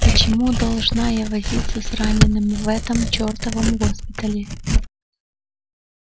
почему должна я возиться с ранеными в этом чертовом госпитале